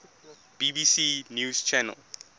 bbc news channel